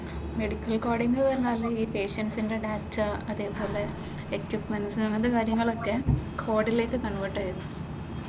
Medical coding എന്ന് പറഞ്ഞാൽ ഈ പേഷ്യന്റ്‌സിന്റെ ഡാറ്റ അതെപോലെ എക്വിപ്മെന്റ്സ് അങ്ങനത്തെ കാര്യങ്ങളൊക്കെ കോഡിലേക്ക് കൺവെർട്ട് ചെയുന്നതാ.